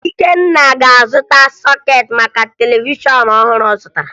Ikenna ga-azụta sọkeetị maka televishọn ọhụrụ ọ zụtara